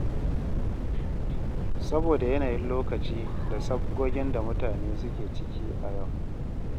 Saboda yanayin lokaci da sabgogin da mutane suke ciki a yau.